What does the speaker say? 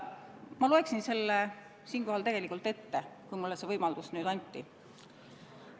Ma loen selle siinkohal ette, kui mulle see võimalus nüüd anti.